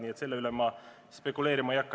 Nii et selle üle ma spekuleerima ei hakka.